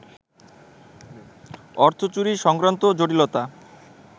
অর্থচুরি সংক্রান্ত জটিলতা